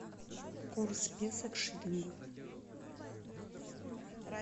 курс песо к шиллингу